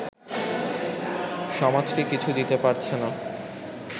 সমাজকে কিছু দিতে পারছেন না